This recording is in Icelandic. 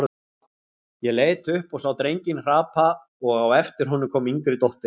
Ég leit upp og sá drenginn hrapa og á eftir honum kom yngri dóttirin.